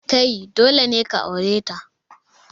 Kai, dole ne ka aure ta.